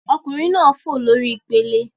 Ọkunrin naa n fo lori ipele